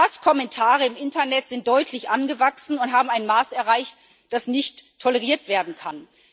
Auch Hasskommentare im Internet sind deutlich angewachsen und haben ein Maß erreicht, dass nicht toleriert werden kann.